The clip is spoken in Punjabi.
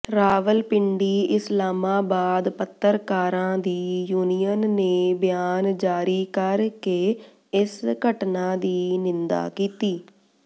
ਰਾਵਲਪਿੰਡੀ ਇਸਲਾਮਾਬਾਦ ਪੱਤਰਕਾਰਾਂ ਦੀ ਯੂਨੀਅਨ ਨੇ ਬਿਆਨ ਜਾਰੀ ਕਰਕੇ ਇਸ ਘਟਨਾ ਦੀ ਨਿੰਦਾ ਕੀਤੀ